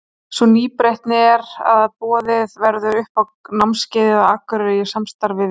Sú nýbreytni er að boðið verður upp á námskeið á Akureyri í samstarfi við Þór.